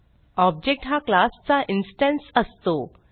object हा class चा instance असतो